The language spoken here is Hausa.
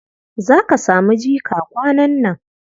Za ka samu jika kwanan nan.